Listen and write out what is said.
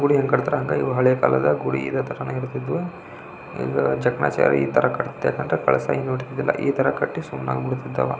ಗುಡಿ ಎಂಗ್ ಕಟ್ಟುತ್ತಾರೆಂದ್ರೆ ಇವು ಹಳೆ ಕಾಲದ ಗುಡಿ ಇದೆ ತರಹ ಇರ್ತಿದ್ವು ಈ ತರಹ ಕಟ್ಟಿ ಸುಮ್ಮನಾಗಿ ಬಿಡ್ತಿದ್ ಅವ --